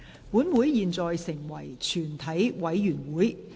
本會現在成為全體委員會。